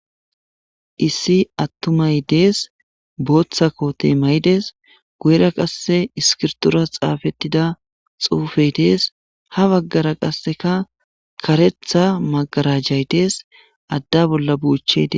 Issi atumay dees Botha kote mayide guyera qase iskirton xaafetida uufey dees ha bagara qaseka karetha magarajay dees ade bolla buchey Des.